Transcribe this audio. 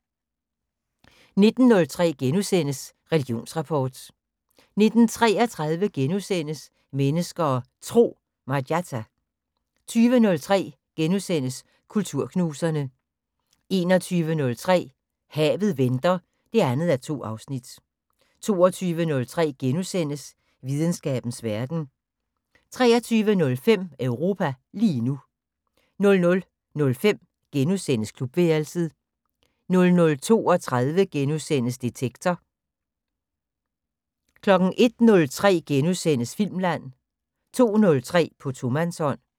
19:03: Religionsrapport * 19:33: Mennesker og Tro: Marjatta * 20:03: Kulturknuserne * 21:03: Havet venter 2:2 22:03: Videnskabens Verden * 23:05: Europa lige nu 00:05: Klubværelset * 00:32: Detektor * 01:03: Filmland * 02:03: På tomandshånd